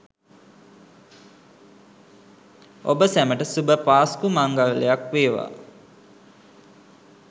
ඔබ සැමට සුභ පාස්කු මංගල්‍යක් ෙව්වා!